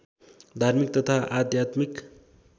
धार्मिक तथा आध्यात्मिक